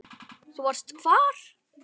Þú varst hvar?